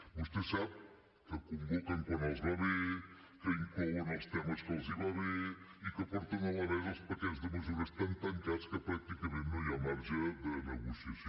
vostè sap que convoquen quan els va bé que inclouen els temes que els van bé i que porten a la mesa els paquets de mesures tan tancats que pràcticament no hi ha marge de negociació